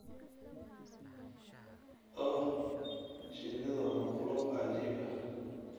Oh, shinnidu waa makhluuq cajiib ah.